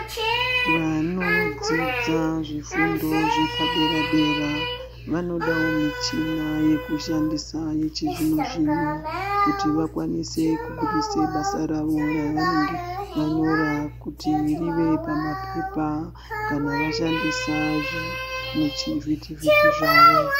Vanodzidza zvifundo zvepadera dera vanodawo muchina yekushandisa yechizvino zvino kuti vakwanise kubudisa basa ravo raanenge vanyora kuti rive pamaphepha kana vashandisa zvivhiti vhiti zvavo.